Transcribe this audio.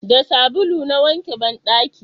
da sabulu na wanke banɗaki